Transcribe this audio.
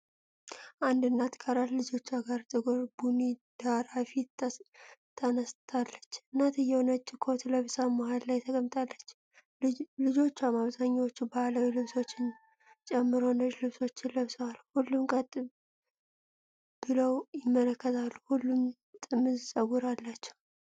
አንድ እናት ከአራት ልጆቿ ጋር ጥቁር ቡኒ ዳራ ፊት ተነስታለች። እናትየው ነጭ ኮት ለብሳ መሃል ላይ ተቀምጣለች፤ ልጆቿም አብዛኛዎቹ ባህላዊ ልብሶችን ጨምሮ ነጭ ልብሶችን ለብሰዋል። ሁሉም ቀጥ ብለው ይመለከታሉ፤ ሁሉም ጥምዝ ፀጉር አላቸው።